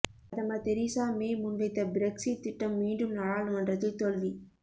பிரதமர் Theresa May முன்வைத்த Brexit திட்டம் மீண்டும் நாடாளுமன்றத்தில் தோல்வி